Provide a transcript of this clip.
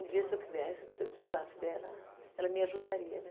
Um dia, se eu quisesse, se eu precisasse dela, ela me ajudaria, né?